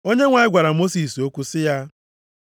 Onyenwe anyị gwara Mosis okwu sị ya,